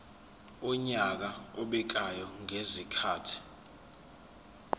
wonyaka obekwayo ngezikhathi